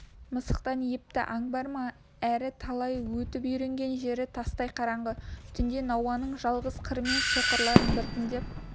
мысықтан епті аң бар ма әрі талай өтіп үйренген жері тастай қараңғы түнде науаның жалғыз қырымен соқырларын біртіндеп